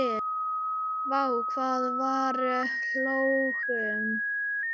Vá hvað við hlógum.